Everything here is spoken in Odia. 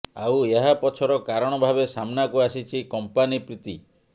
ଆଉ ଏହା ପଛର କାରଣ ଭାବେ ସାମ୍ନାକୁ ଆସିଛି କଂପାନୀ ପ୍ରୀତି